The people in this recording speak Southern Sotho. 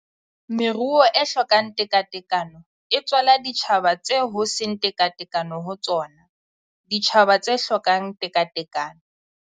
Meruo e hlokang tekatekano e tswala ditjhaba tseo ho seng tekatekano ho tsona, ditjhaba tse hlokang tekatekano.